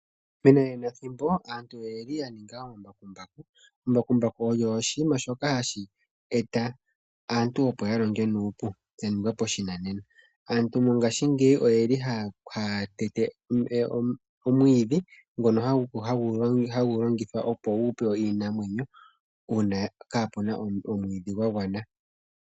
Menanenathimbo aantu oye li ya ninga oombakumbaku. Ombakumbaku oyo oshinima shoka hashi eta aantu opo ya longe nuupu lya ningwa pashinanena. Aantu mongashingeyi oye li haa tete omwiidhi ngono hagu longithwa opo gu pewe iinamwenyo uuna kaapu na omwiidhi gwa gwana.